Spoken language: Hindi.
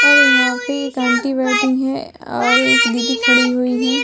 और यहाँ पे एक ऑन्टी बैठी है और एक दीदी खड़ी हुई है।